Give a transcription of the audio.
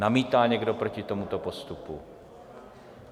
Namítá někdo proti tomuto postupu?